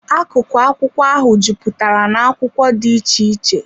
Akụkụ akwụkwọ ahụ jupụtara na akwụkwọ dị iche iche.